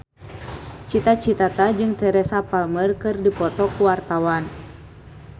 Cita Citata jeung Teresa Palmer keur dipoto ku wartawan